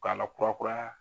K'a la kurakuraya.